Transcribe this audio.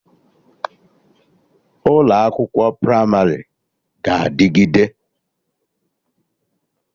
Ụlọ akwụkwọ Pramarị ga-adịgide